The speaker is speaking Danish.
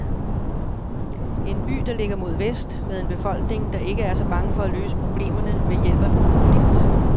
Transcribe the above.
En by, der ligger mod vest, med en befolkning, der ikke er så bange for at løse problemerne ved hjælp af konflikt.